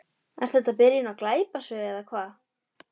Er þetta byrjun á glæpasögu eða hvað?